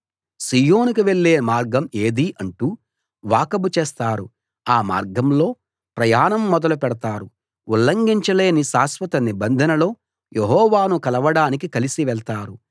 సీయోనుకు వెళ్ళే మార్గం ఏది అంటూ వాకబు చేస్తారు ఆ మార్గంలో ప్రయాణం మొదలు పెడతారు ఉల్లంఘించలేని శాశ్వత నిబంధనలో యెహోవాను కలవడానికి కలిసి వెళ్తారు